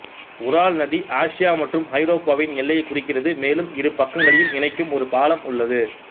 உரால் நதி ஆசியா மற்றும் ஐரோப்பாவின் எல்லையை குறிக்கிறது மேலும் இரு பக்கங்களையும் இணைக்கும் ஒரு பாலம் உள்ளது